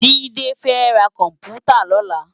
JIde fè rá kòmpútâ lòlá